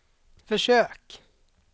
försök